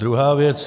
Druhá věc.